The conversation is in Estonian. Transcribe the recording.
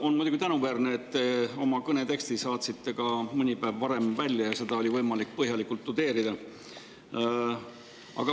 On muidugi tänuväärne, et te saatsite oma kõne teksti mõni päev varem välja ja seda oli võimalik põhjalikult tudeerida.